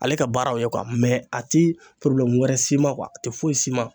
Ale ka baara ye kuwa mɛ a ti porobilɛmu wɛrɛ s'i ma kuwa a ti foyi s'i ma